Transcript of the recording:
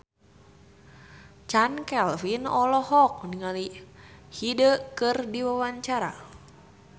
Chand Kelvin olohok ningali Hyde keur diwawancara